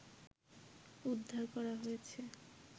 উদ্বার করা হয়েছে